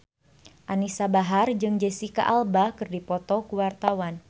Anisa Bahar jeung Jesicca Alba keur dipoto ku wartawan